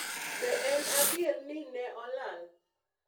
Be en Adier ni ne "Olal"?